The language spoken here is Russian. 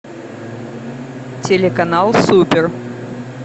телеканал супер